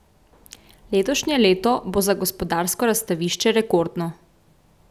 Letošnje leto bo za Gospodarsko razstavišče rekordno.